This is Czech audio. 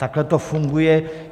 Takhle to funguje.